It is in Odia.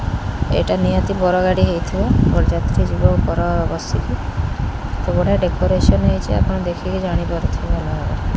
ଏଇଟା ନିହାତି ବର ଗାଡ଼ି ହେଇଥିବ ବରଯାତ୍ରୀ ଯିବ ବର ବସିକି। ତ ବଢ଼ିଆ ଡେକରେସନ୍ ହେଇଚି ଆପଣ ଦେଖିକି ଜାଣିପାରିଥିବେ ଭଲ ଭାବରେ।